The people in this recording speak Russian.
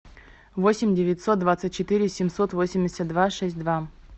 восемь девятьсот двадцать четыре семьсот восемьдесят два шесть два